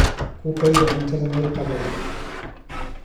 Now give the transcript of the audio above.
Ku kaydi cuntada meel qabow.